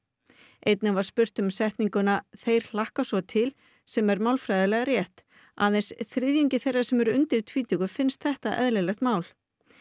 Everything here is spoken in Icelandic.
einnig var spurt um setninguna þeir hlakka svo til sem er málfræðilega rétt aðeins þriðjungi þeirra sem eru undir tvítugu finnst þetta eðlilegt mál